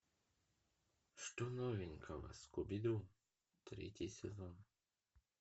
что новенького скуби ду третий сезон